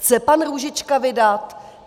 Chce pan Růžička vydat?